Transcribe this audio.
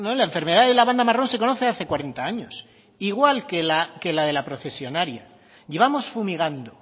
la enfermedad de la banda marrón se conoce hace cuarenta años igual que la de la procesionaria llevamos fumigando